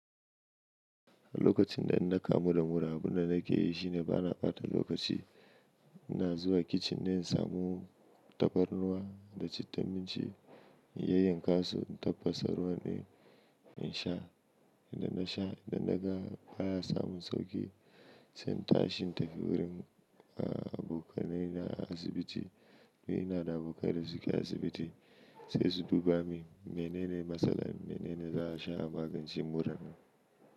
Lokacin da in na kamu da mura, abin da nake yi shi ne bana ɓata lokaci. Ina zuwa kicin ne in samu tafarnuwa da citta minci, in yayyanka su, in tafasa ruwan ɗin in sha. Idan na sha, idan na ga baya samun sauƙi, sai in tashi in tafi wurin abokanai na a asibiti. Ni ina da abokanai da suke asibiti sai su duba mini menene matsalar, menene za a sha a magance muran.